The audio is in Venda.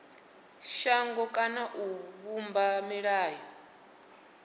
shango kana u vhumba milayo